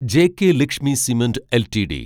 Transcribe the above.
JK Lakshmi cement LTD